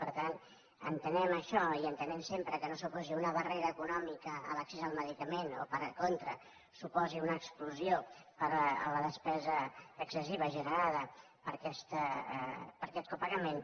per tant entenem això i ho entenem sempre que no suposi una barrera econòmica a l’accés al medicament o per contra suposi una exclusió per la despesa excessiva generada per aquest copagament